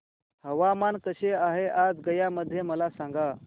हवामान कसे आहे आज गया मध्ये मला सांगा